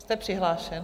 Jste přihlášen?